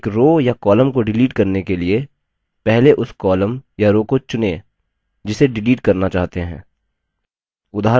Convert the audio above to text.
एक row या column को डिलीट करने के लिए पहले उस column या row को चुनें जिसे डिलीट करना चाहते हैं